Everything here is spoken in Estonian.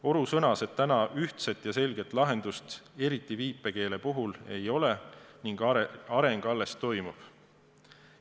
Oru sõnas, et täna ühtset ja selget lahendust, eriti viipekeele puhul, ei ole ning areng alles toimub.